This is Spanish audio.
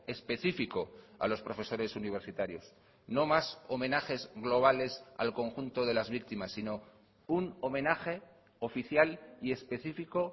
específico a los profesores universitarios no más homenajes globales al conjunto de las víctimas sino un homenaje oficial y específico